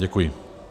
Děkuji.